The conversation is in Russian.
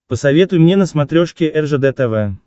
посоветуй мне на смотрешке ржд тв